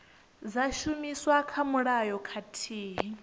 dza shumiswa kha mulayo khathihi